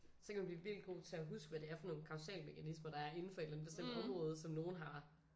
Så kan man blive vildt god til at huske hvad det er for nogle kausalmekanismer der er inden for et eller andet bestemt område som nogen har